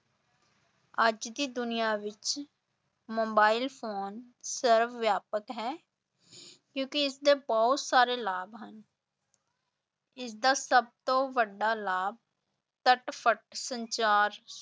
ਅੱਜ ਦੀ ਦੁਨੀਆ ਵਿਚ ਮੋਬਾਇਲ ਫ਼ੋਨ ਸਰਬ-ਵਿਆਪਕ ਹੈ ਕਿਉਂਕਿ ਇਸਦੇ ਬਹੁਤ ਸਾਰੇ ਲਾਭ ਹਨ ਇਸ ਦਾ ਸਭ ਤੋਂ ਵੱਡਾ ਲਾਭ ਤਟਫਟ ਸੰਚਾਰ